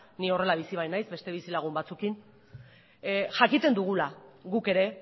ni horrela bizi bainaiz beste bizilagun batzuekin jakiten dugula guk ere